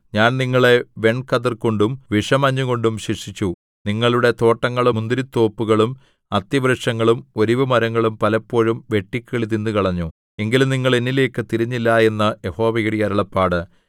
ഞാൻ നിങ്ങളെ വെൺകതിർകൊണ്ടും വിഷമഞ്ഞുകൊണ്ടും ശിക്ഷിച്ചു നിങ്ങളുടെ തോട്ടങ്ങളും മുന്തിരിത്തോപ്പുകളും അത്തിവൃക്ഷങ്ങളും ഒലിവുമരങ്ങളും പലപ്പോഴും വെട്ടുക്കിളി തിന്നുകളഞ്ഞു എങ്കിലും നിങ്ങൾ എന്നിലേയ്ക്ക് തിരിഞ്ഞില്ല എന്ന് യഹോവയുടെ അരുളപ്പാട്